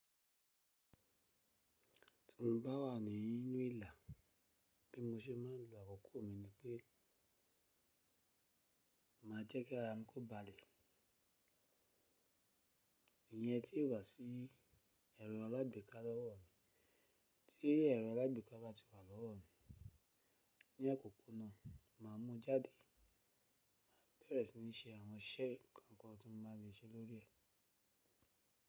Ti n ba wa ni inu ila bi mo se ma n lo akoko mi ni pe ma je ki n ko ba le iyen ti o wa si ero alagbeka lowo mi, ti ero alagbaka ba ti wa lowo mi ni akoko naa ma mu jade ma bere sini se awon ise kan kan ti n ba le se lori re.